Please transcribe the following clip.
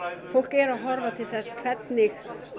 fólk er að horfa til þess hvernig